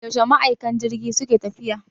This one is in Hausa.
Yaushe ma'aikan jirgi suke tafiya gida?